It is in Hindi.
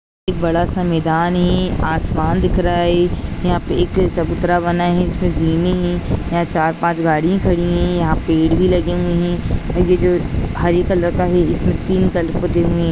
एक बड़ा सा मैदान है आसमान दिख रहा है यहाँ पे एक चबूतरा बना है जिसमे है यहाँ चार पाँच गाड़ी खड़ी है यहाँ पेड़ भी लगे है आगे जो हरे कलर का है इसमे तीन कलर पोते हुए है।